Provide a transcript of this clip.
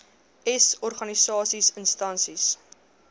s organisasies instansies